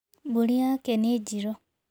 Mbũri yake nĩ njirũ.